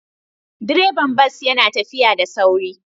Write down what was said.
Direban bas yana tafiya da sauri